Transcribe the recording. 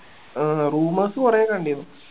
ആഹ് rumours കൊറേ കണ്ടീനു